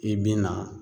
I bina